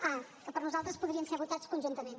a que per nosaltres podrien ser votats conjuntament